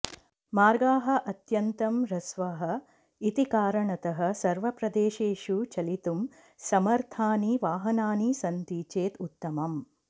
मार्गाः अत्यन्तं ह्रस्वाः इति कारणतः सर्वप्रदेशेषु चलितुं समर्थानि वाहनानि सन्ति चेत् उत्तमम्